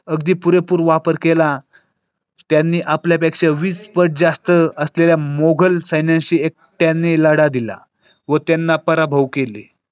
अगदी पुरेपूर वापर केला. त्यांनी आपल्यापेक्षा वीस पट जास्त असलेल्या मोगल सैन्याशी त्यांनी लढा दिला व त्यांना पराभव केले.